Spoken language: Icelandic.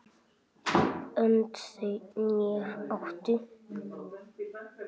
Önd þau né áttu